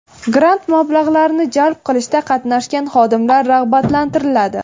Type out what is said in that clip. Grant mablag‘larini jalb qilishda qatnashgan xodimlar rag‘batlantiriladi.